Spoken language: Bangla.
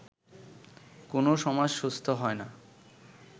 কোনও সমাজ সুস্থ হয় না